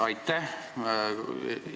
Aitäh!